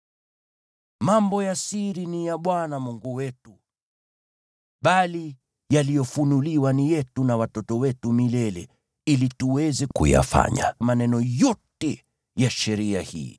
Mambo ya siri ni ya Bwana Mungu wetu, bali yaliyofunuliwa ni yetu na watoto wetu milele, ili tuweze kuyafanya maneno yote ya sheria hii.